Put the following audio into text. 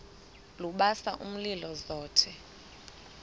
lubasa umlilo zothe